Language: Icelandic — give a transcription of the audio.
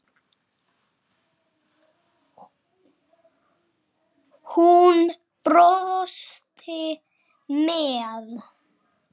Hún brosti með